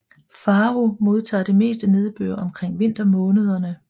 Faro modtager det meste nedbør omkring vintermånederne